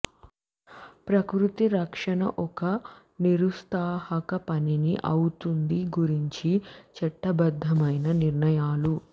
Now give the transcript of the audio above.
ప్రకృతి రక్షణ ఒక నిరుత్సాహక పనిని అవుతుంది గురించి చట్టబద్ధమైన నిర్ణయాలు